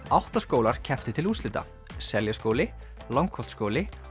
átta skólar kepptu til úrslita Seljaskóli Langholtsskóli